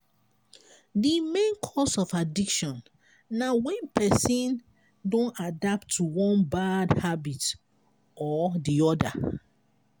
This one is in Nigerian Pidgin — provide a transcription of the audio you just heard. di main cause of addiction na when person don adapt to one bad habit or di other